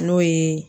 N'o ye